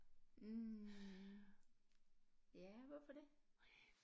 Mh ja hvorfor det